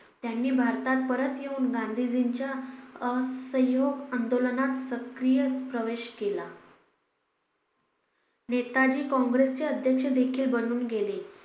त्यांनी भारतात परत येऊन गांधीजींच्या असहयोग आंदोलनात सक्रिय प्रवेश केला नेताजी काँग्रेसचे अध्यक्ष देखील बनून गेले